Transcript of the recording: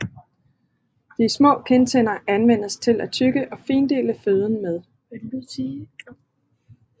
De små kindtænder anvendes til at tygge og findele føden med